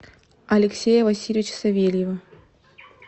алексея васильевича савельева